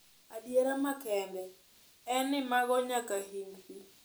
Adiera makende en ni mogo nyaka hing pii.